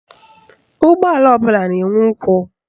Ụgbọala ọbụla na-enwe ụkwụ